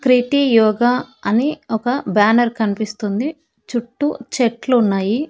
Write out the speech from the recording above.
క్రిటి యోగ అని ఒక బ్యానర్ కనిపిస్తుంది చుట్టూ చెట్లున్నాయి.